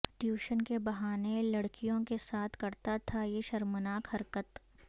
tuition کے بہانے لڑکیوں کے ساتھ کرتا تھا یہ شرمناک حرکت